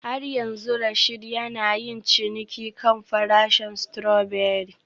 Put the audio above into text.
Har yanzu Rasheed yana yin ciniki kan farashin strawberry